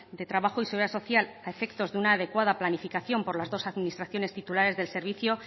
de trabajo y seguridad social a efectos de una adecuada planificación por las dos administraciones titulares del servicio